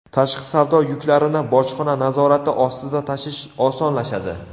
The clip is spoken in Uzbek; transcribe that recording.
Tashqi savdo yuklarini bojxona nazorati ostida tashish osonlashadi.